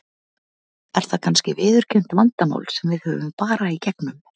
Er það kannski viðurkennt vandamál sem við horfum bara í gegnum?